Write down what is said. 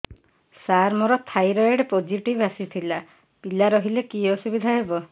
ସାର ମୋର thyroid positive ଆସିଥିଲା ପିଲା ରହିଲେ କି ଅସୁବିଧା ହେବ